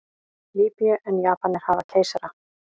Lýbíu en Japanir hafa keisara.